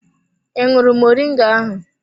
I ṅụrụ moringa ahụ?